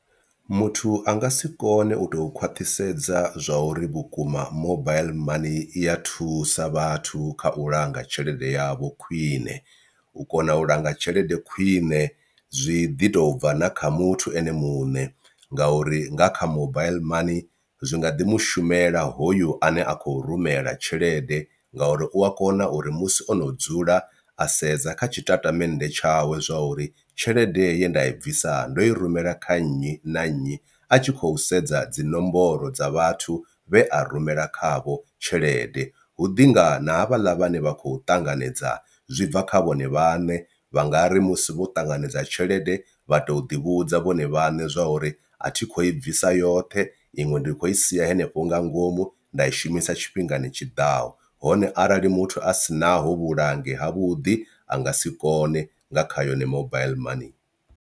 Muthu a nga si kone u tou khwaṱhisedza zwa uri vhukuma mobaiḽi money iya thusa vhathu kha u langa tshelede yavho khwiṋe u kona u langa tshelede khwine zwi ḓi tou bva na kha muthu ene muṋe ngauri nga kha mobaiḽi money zwi nga ḓi mushumela hoyu ane a khou rumela tshelede, ngauri u a kona uri musi ono dzula a sedza kha tshitatamennde tshawe zwa uri tshelede ye nda i bvisa ndo i rumela kha nnyi na nnyi a a tshi khou sedza dzi nomboro dza vhathu vhe a rumela khavho tshelede. Hu ḓinga na havhaḽa vhane vha khou ṱanganedza zwi bva kha vhone vhane vha nga ri musi vho ṱanganedza tshelede vha to ḓi vhudza vhone vhaṋe zwa uri a thi khou i bvisa yoṱhe iṅwe ndi khou i sia hanefho nga ngomu nda i shumisa tshifhingani tshiḓaho, hone arali muthu a sinaho vhulangi ha vhuḓi a nga si kone nga kha yone mobile money.